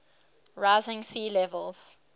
rising sea levels